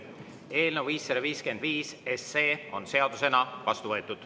Eelnõu 555 on seadusena vastu võetud.